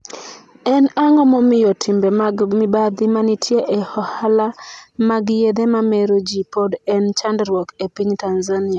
En ang'o momiyo timbe mag mibadhi manitie e ohala mag yedhe mamero ji pod en chandruok e piny Tanzania?